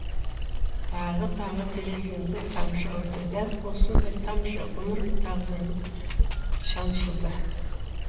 тағы тағы тереземді тамшы ұрды дәл осындай тамшы ғұмыр тағдырым шаншылды